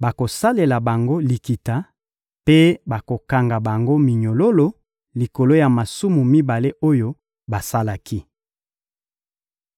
bakosalela bango likita mpe bakokanga bango minyololo likolo ya masumu mibale oyo basalaki.